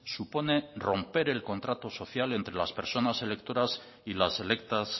supone romper el contrato social entre las personas electoras y las electas